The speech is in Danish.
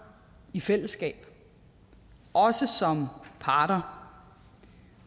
i fællesskab også som parter